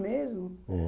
Mesmo? É